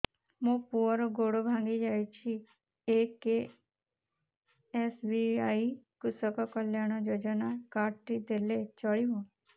ମୋ ପୁଅର ଗୋଡ଼ ଭାଙ୍ଗି ଯାଇଛି ଏ କେ.ଏସ୍.ବି.ୱାଇ କୃଷକ କଲ୍ୟାଣ ଯୋଜନା କାର୍ଡ ଟି ଦେଲେ ଚଳିବ